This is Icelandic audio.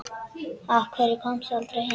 Af hverju komstu aldrei heim?